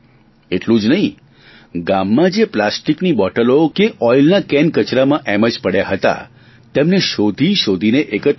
એટલું જ નહીં ગામમાં જે પ્લાસ્ટીકની બોટલો કે ઓઇલના કેન કચરામાં એમ જ પડ્યા હતા તેમને શોધી શોધીને એકત્ર કર્યા